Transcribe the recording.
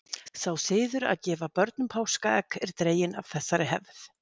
sá siður að gefa börnum páskaegg er dreginn af þessari hefð